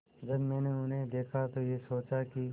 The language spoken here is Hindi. जब मैंने उन्हें देखा तो ये सोचा कि